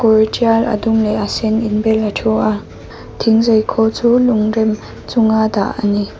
kawr ṭial a dum leh a sen inbelin a ṭhu a thingzai khâwl chu lungrem chunga dah a ni.